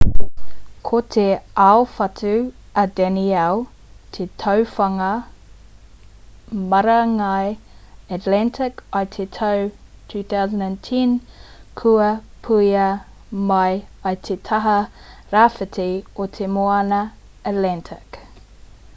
ko te aowhatu a danielle te tuawhā o ngā marangai atlantic i te tau 2010 kua puea mai i te taha rāwhiti o te moana atlantic